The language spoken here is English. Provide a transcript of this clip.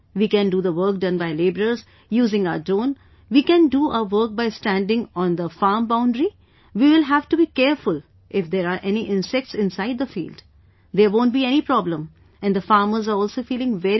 We can do the work done by labourers using our drone, we can do our work by standing on the farm boundary, we will have to be careful if there are any insects inside the field, there won't be any problem and the farmers are also feeling very good